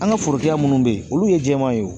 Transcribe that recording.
An ka forokɛ minnu bɛ yen olu ye jɛman ye o